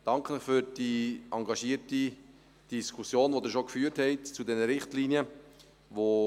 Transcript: Danke für die engagierte Diskussion, die Sie bereits zu diesen Richtlinien geführt haben.